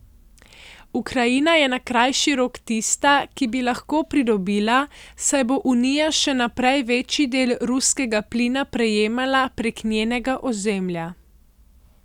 Ukrajina je na krajši rok tista, ki bi lahko pridobila, saj bo Unija še naprej večji del ruskega plina prejemala prek njenega ozemlja.